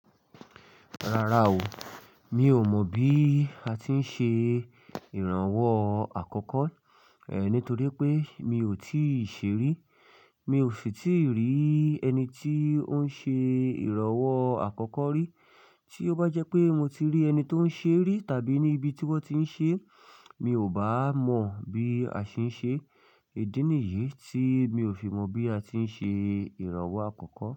Rárá o, mi ò mọ̀ bí a ti ń ṣe ìrànwọ́ àkọ́kọ́, eh nítorí pé mi ò tíì ṣe rí. Mi ò sì tí rí ẹni tí ó ń ṣe ìrànwọ́ àkọ́kọ́ rí. Tí ó bá jẹ́ pé mo ti rí ẹni tó ń ṣe rí tàbí ní ibi tí wọ́n ti ń ṣe, mi ò bá mọ bí a ṣe ń ṣe. Ìdí nìyí tí mi ò fi mọ̀ bí a ti ń ṣe ìrànwọ́ àkọ́kọ́.